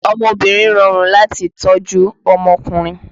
Ọmọbìnrin rọrùn láti tọ́ ju ọmọkùnrin